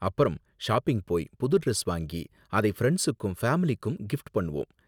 அப்பறம் ஷாப்பிங் போய் புது டிரெஸ் வாங்கி அதை ஃபிரண்ட்ஸூக்கும் ஃபேமிலிக்கும் கிப்ட் பண்ணுவோம்.